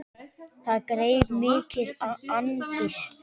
Það greip mikil angist.